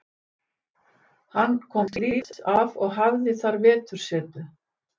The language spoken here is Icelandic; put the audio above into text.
Hann komst lífs af og hafði þar vetursetu.